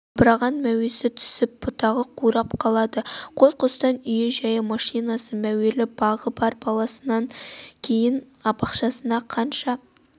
албыраған мәуесі түсіп бұтағы қурап қалады қос-қостан үй-жайы машинасы мәуелі бағы бар баласынан кейін бақшасында қанша